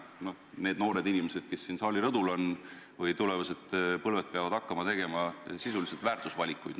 Need noored inimesed, kes siin saali rõdul on – meie tulevane põlvkond –, peavad hakkama langetama sisulisi väärtusvalikuid.